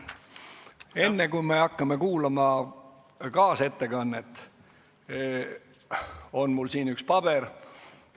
Enne, kui me hakkame kuulama kaasettekannet, ütlen, et mul on siin üks paber.